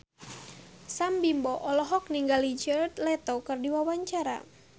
Sam Bimbo olohok ningali Jared Leto keur diwawancara